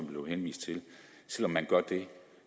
blev henvist til står at man